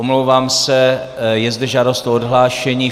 Omlouvám se, je zde žádost o odhlášení.